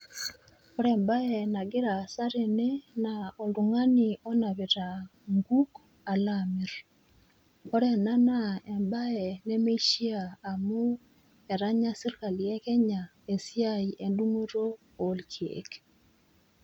Ore embaye nagira aasa tene naa oltung'ani onapita nkuk alaamirr. Ore ena jaa embaye nemeishiaa amu etanya sirkali e Kenya esiai endung'oto olkeek.